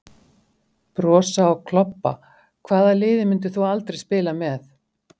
Brosa og klobba Hvaða liði myndir þú aldrei spila með?